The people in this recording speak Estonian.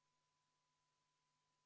Kohalolijaks registreerus 57 Riigikogu liiget.